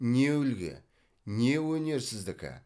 не үлгі не өнер сіздікі